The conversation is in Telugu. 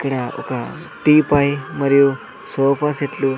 ఇక్కడ ఒక టీపాయ్ మరియు సోఫా సెట్లు --